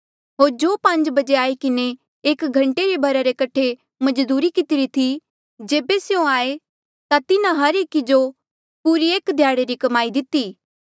होर जो पांज बजे आई किन्हें एक घंटे रे भरा रे कठे मजदूरी कितरी थी जेबे स्यों आये ता तिन्हा हर एकी जो पूरी एक ध्याड़े री कमाई दिती